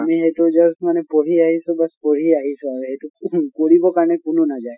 আমি এইটো just মানে পঢ়ি আহিছো বচ পঢ়ি আহিছো আৰু সেইটো কৰিব কাৰণে কোনো নাযায়।